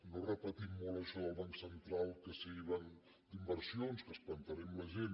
no repetim molt això del banc central que sigui banc d’inversions que espantarem la gent